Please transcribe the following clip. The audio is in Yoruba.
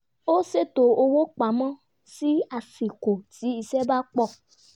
ó ṣètò owó pamọ́ ní àsìkò tí iṣẹ́ bá pọ̀